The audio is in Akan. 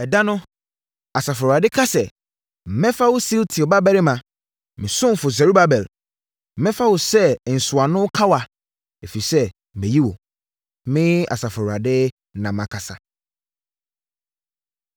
“ ‘Ɛda no’ Asafo Awurade ka sɛ, ‘Mɛfa wo, Sealtiel babarima, me ɔsomfoɔ Serubabel, mɛfa wo sɛ nsɔano kawa, ɛfiri sɛ mayi wo.’ Me Asafo Awurade, na makasa.”